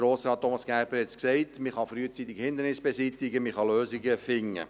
Grossrat Thomas Gerber sagte es, man kann frühzeitig Hindernisse beseitigen, man kann Lösungen finden.